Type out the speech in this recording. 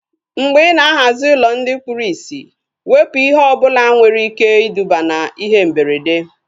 Mgbe ị ná-ahazi ụlọ ndị kpụrụ isi, wepụ ihe ọbụla nwere ike iduba na ihe mberede